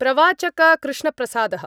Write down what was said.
प्रवाचक कृष्णप्रसादः